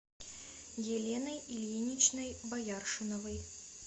еленой ильиничной бояршиновой